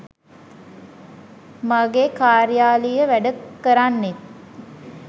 මගේ කාර්යාලීය වැඩ කරන්නෙත්